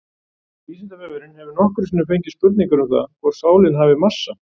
Vísindavefurinn hefur nokkrum sinnum fengið spurningar um það hvort sálin hafi massa.